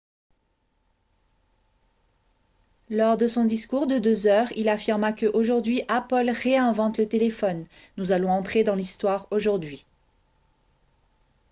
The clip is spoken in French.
lors de son discours de deux heures il affirma que « aujourd'hui apple réinvente le téléphone ; nous allons entrer dans l'histoire aujourd'hui. »